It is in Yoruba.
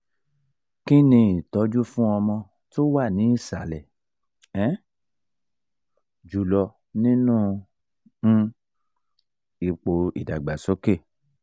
kini itoju fún ọmọ tó wà ní ìsàlẹ̀ um jùlọ nínú um ipo ìdàgbàsókè?